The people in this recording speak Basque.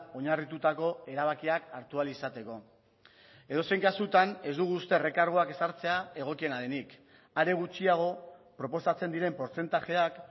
oinarritutako erabakiak hartu ahal izateko edozein kasutan ez dugu uste errekarguak ezartzea egokiena denik are gutxiago proposatzen diren portzentajeak